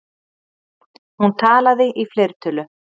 Hún talaði í fleirtölu.